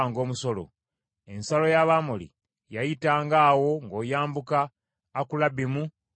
Ensalo y’Abamoli yayitanga awo ng’oyambuka Akulabbimu n’okweyongerayo.